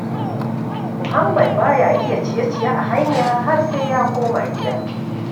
Muhammad ba ya iya yin ciye-ciye a hanya har sai ya koma gida.